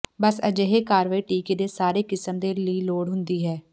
ਬਸ ਅਜਿਹੇ ਕਾਰਵਾਈ ਟੀਕੇ ਦੇ ਸਾਰੇ ਕਿਸਮ ਦੇ ਲਈ ਲੋੜ ਹੁੰਦੀ ਹੈ